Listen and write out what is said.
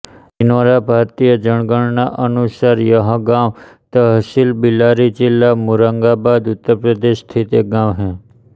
दिनौरा भारतीय जनगणना अनुसार यह गाँव तहसील बिलारी जिला मुरादाबाद उत्तर प्रदेश में स्थित है